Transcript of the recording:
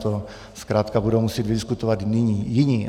To zkrátka budou muset vydiskutovat jiní.